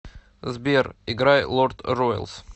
сбер играй лорд роялс